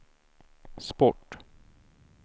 sport